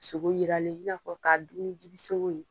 Sogo yiralen i n'a fɔ k'a dun ni dibi sogo ye.